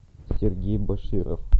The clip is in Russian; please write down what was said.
сергей баширов